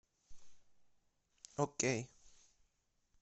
окей